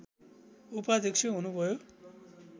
उपाध्यक्ष हुनुभयो